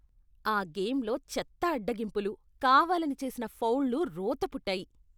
ఆ గేమ్లో చెత్త అడ్డగింపులు, కావాలని చేసిన ఫౌల్లు రోత పుట్టాయి.